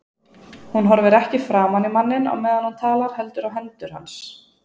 Hún horfir ekki framan í manninn á meðan hún talar heldur á hendur hans.